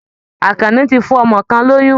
Àkànní ti fún ọmọ kan lóyún